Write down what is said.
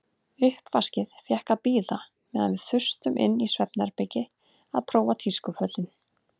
Uppvaskið fékk að bíða meðan við þustum inn í svefnherbergi að prófa tískufötin.